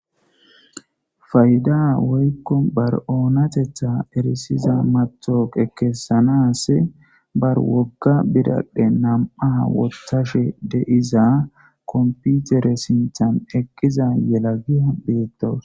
Payda woykko bari onatetha eriza matoqa kesanasi bari woga biradhe 2 wothashe de'iza computer sinthan eqiza gelagiya betawus.